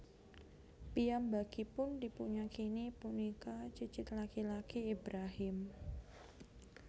Piyambakipun dipunyakini punika cicit laki laki Ibrahim